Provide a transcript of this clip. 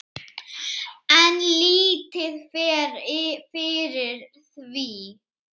En lítið fer fyrir því.